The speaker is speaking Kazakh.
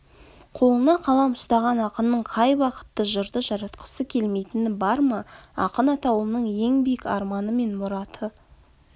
қолына қалам ұстаған ақынның қай бақытты жырды жаратқысы келмейтіні бар ма ақын атаулының ең биік арманы мен мұраты